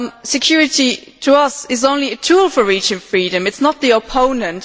Security, to us, is only a tool for reaching freedom it is not its opponent.